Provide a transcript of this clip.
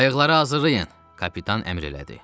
Qayıqları hazırlayın, kapitan əmr elədi.